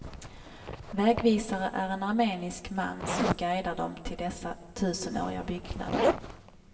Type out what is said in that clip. Vägvisare är en armenisk man som guidar dem till dessa tusenåriga byggnader.